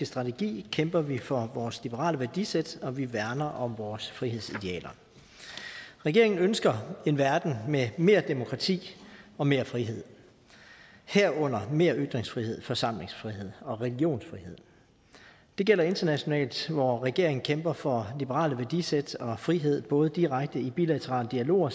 strategi kæmper vi for vores liberale værdisæt og vi værner om vores frihedsidealer regeringen ønsker en verden med mere demokrati og mere frihed herunder mere ytringsfrihed forsamlingsfrihed og religionsfrihed det gælder internationalt hvor regeringen kæmper for liberale værdisæt og frihed både direkte i bilaterale dialoger